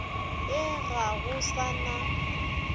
ye ga go sa na